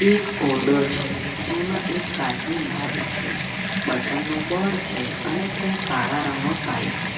એક ઓરડો છે જેમાં એક કાચની બારી છે બટન નું બોર્ડ છે અને ત્યાં કાળા રંગનો પાઇપ છે.